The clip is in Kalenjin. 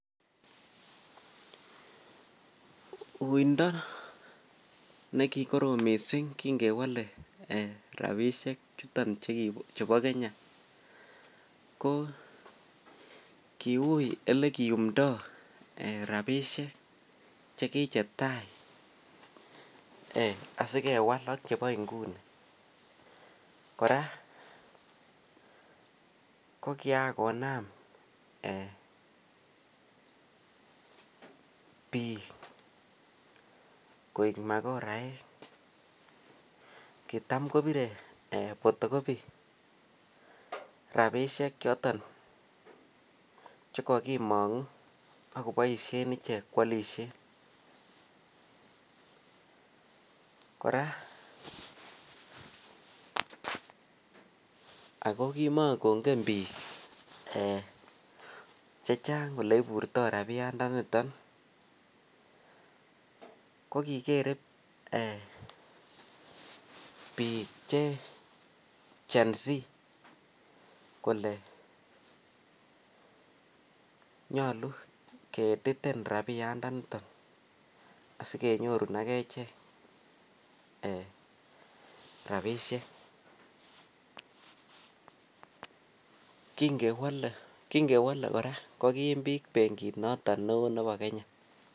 Uindo nekikorom missing kingkewole rapisiek chuton chebo kenya kokokiui olekiyumndo rapisiek chekichetai asikewal ak chebo inguni kora kokiyan konam biik koek makoraek kitam kopire photocopy rapisiek choton kogimongubak kopoisien koyolisien kora ago kimakongen biik chechang kole iburtoi rapiandaniton kokigere biik che genz kole nyalu keediten rapisiek chuton asikenyorun ak ichek rapisiek kingewole kora kogiim biik kora bengit noton neo nebo Kenya